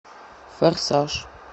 форсаж